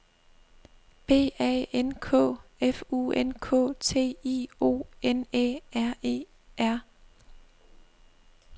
B A N K F U N K T I O N Æ R E R